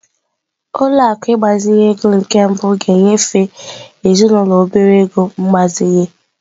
Ụlọ akụ ịgbazinye ego nke mbụ ga-enyefe ezinụlọ obere ego mgbazinye.